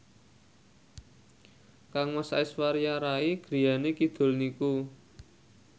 kangmas Aishwarya Rai griyane kidul niku